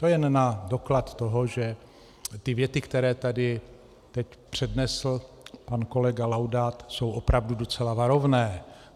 To jen na doklad toho, že ty věty, které tady teď přednesl pan kolega Laudát, jsou opravdu docela varovné.